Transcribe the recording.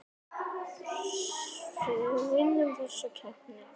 Var hann ekki of gamall?